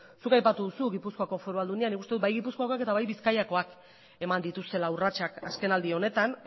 zuk aipatu duzu gipuzkoako foru aldundia nik uste dut bai gipuzkoakoak eta bai bizkaikoak eman dituztela urratsak azkenaldi honetan